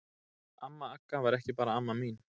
Amma Agga var ekki bara amma mín.